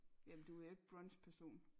Jamen du er jo ikke brunch person